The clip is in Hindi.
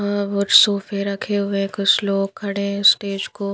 सोफे रखे हुए कुछ लोग खड़े हैं स्टेज को --